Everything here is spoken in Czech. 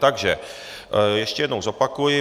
Takže ještě jednou zopakuji.